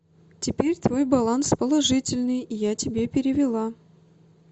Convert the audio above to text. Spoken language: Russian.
теперь твой баланс положительный я тебе перевела